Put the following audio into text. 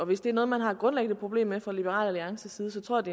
hvis det er noget man har et grundlæggende problem med fra liberal alliances side så tror